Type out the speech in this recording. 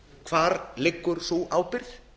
hvar liggur sú ábyrgð